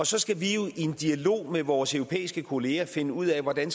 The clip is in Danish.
så skal vi jo i en dialog med vores europæiske kollegaer finde ud af hvordan